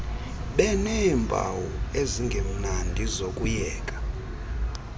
beneempawu ezingemnandi zokuyeka